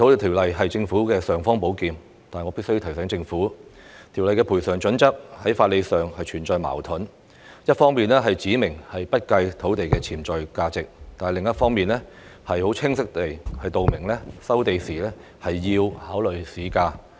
《條例》是政府的"尚方寶劍"，但我必須提醒政府，《條例》的賠償準則在法理上存在矛盾，一方面指明不計土地的潛在價值，但另一方面卻清晰指明收地時要考慮市價。